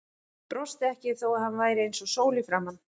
Brosti ekki þó að hann væri eins og sól í framan.